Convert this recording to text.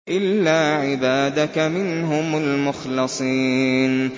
إِلَّا عِبَادَكَ مِنْهُمُ الْمُخْلَصِينَ